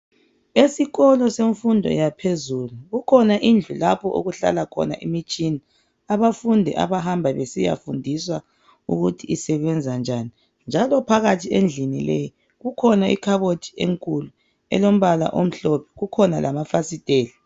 Esikolo semfundo yaphezulu kukhona indlu lapho okuhlala khona imitshina. Abafundi abahamba besiyafundiswa ukuthi isebenza njani .Njalo phakathi endlini leyi kukhona ikhabothi enkulu elombala omhlophe, kukhona lamafasiteli.